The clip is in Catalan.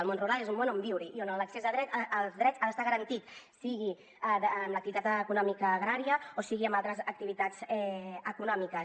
el món rural és un món on viure hi i on l’accés als drets ha d’estar garantit sigui amb l’activitat econòmica agrària o sigui amb altres activitats econòmiques